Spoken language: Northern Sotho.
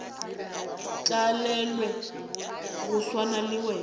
tlalelwe go swana le wena